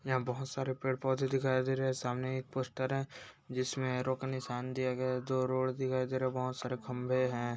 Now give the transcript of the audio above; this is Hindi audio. यहां बहुत सारे पेड़ पौधे दिखाई दे रहे हैं सामने एक पोस्टर है जिसमें एरो का निशान दिया गया है जो रोड दिखाई दे रहा हैं बहुत सारे खंभे हैं ब--